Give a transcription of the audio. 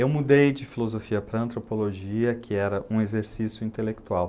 Eu mudei de filosofia para antropologia, que era um exercício intelectual.